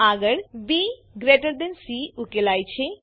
આગળ બીસી ઉકેલાય છે